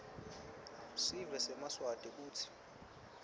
sive semaswati kutsi